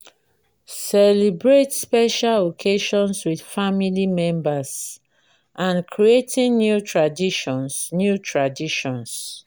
celebrate special occasions with family members and creating new traditions new traditions